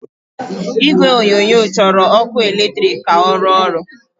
Igwe onyonyo chọrọ ọkụ eletrik ka ọ rụọ ọrụ.